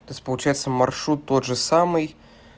то есть получается маршрут тот же самый